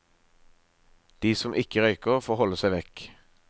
De som ikke røyker får holde seg vekk.